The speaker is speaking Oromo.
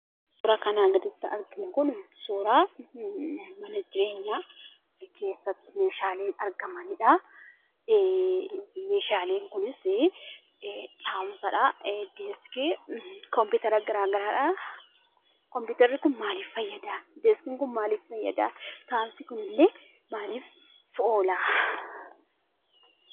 Suuraan kanaa gaditti arginu kun suuraa mana jireenyaa keessatti meeshaalee argamanidha. Meeshaaleen kunis deeskii, kompiitara garaagaraadha. Kompiitarri kun maaliif fayyada? Deeakii kun maaliif fayyada? Deeskiin kunillee maaliif oola?